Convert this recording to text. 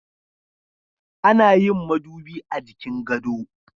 Ana yin madubi a jikin gado.